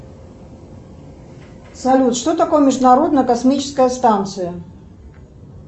салют что такое международная космическая станция